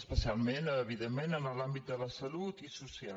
especialment evidentment en l’àmbit de la salut i del social